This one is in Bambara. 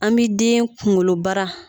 An bi den kunkolobara